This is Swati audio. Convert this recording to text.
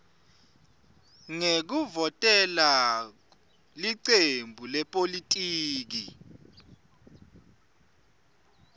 ngekuvotela licembu lepolitiki